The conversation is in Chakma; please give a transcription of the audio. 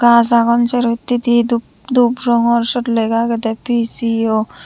gaj agon sero hittedi dhup rongor sut lega agede P_C_O.